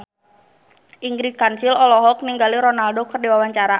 Ingrid Kansil olohok ningali Ronaldo keur diwawancara